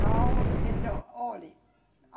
Não, então, olhe. A